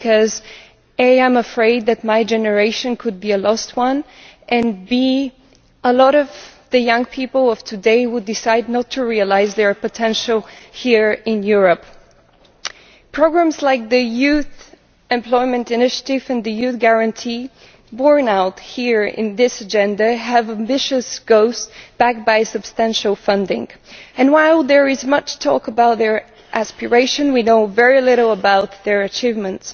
First, I am afraid that my generation could be a lost generation and second, a lot of the young people of today will decide not to realise their potential here in Europe. Programmes like the Youth Employment Initiative and the Youth Guarantee, borne out here in this agenda, have ambitious goals backed by substantial funding, and while there is much talk about their aspirations, we know very little about their achievements.